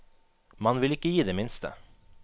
Man vil ikke gi det minste.